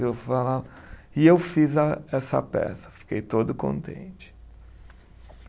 Eu falava, e eu fiz essa peça, fiquei todo contente.